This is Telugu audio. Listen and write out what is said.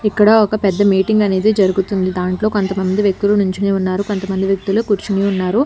ఇక్కడ ఒక పెద్ద మీటింగ్ అనేది జరుగుతుంది దాంట్లో కొంతమంది వ్యక్తులు నుంచొని ఉన్నారు కొంతమంది వ్యక్తులు కూర్చొని ఉన్నారు.